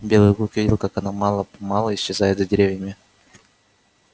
белый клык видел как она мало помалу исчезает за деревьями